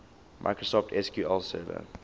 microsoft sql server